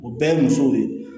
O bɛɛ ye musow de ye